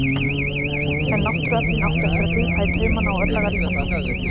En náttúruöflin áttu eftir að grípa í taumana á örlagaríkan hátt.